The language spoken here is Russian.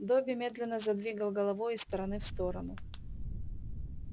добби медленно задвигал головой из стороны в сторону